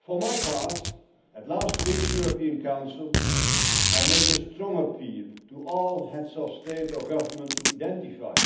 For my part, at last week's European Council, I made a strong appeal to all Heads of State or Government to identify